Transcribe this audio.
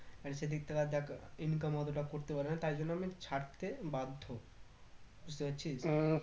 আর সেদিক থেকে দেখ income অতটা করতে পারেনা তাই জন্য আমি ছাড়তে বাধ্য বুঝতে পারছিস?